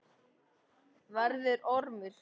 Verður ormur.